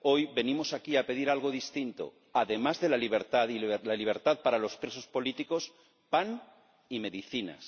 Hoy venimos aquí a pedir algo distinto además de la libertad y de la libertad para los presos políticos, pan y medicinas.